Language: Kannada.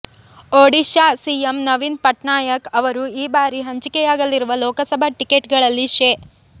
ಒಡಿಶಾ ಸಿಎಂ ನವೀನ್ ಪಟ್ನಾಯಕ್ ಅವರು ಈ ಬಾರಿ ಹಂಚಿಕೆಯಾಗಲಿರುವ ಲೋಕಸಭಾ ಟಿಕೆಟ್ ಗಳಲ್ಲಿ ಶೇ